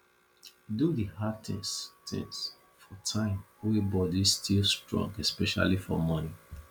do di hard things things for time wey body still strong especially for morning